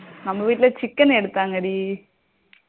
நம்ம வீட்டுல chicken எடுத்தாங்க டி